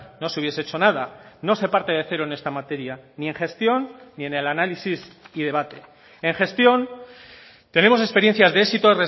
no se hubiese hecho nada no se parte de cero en esta materia ni en gestión ni en el análisis y debate en gestión tenemos experiencias de éxito